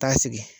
Taa sigi